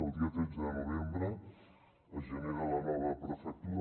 el dia tretze de novembre es genera la nova prefectura